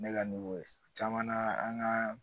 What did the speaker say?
Ne ka caman na an ka